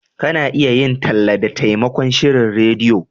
Ka na iya yin talla da taimakon shirin rediyo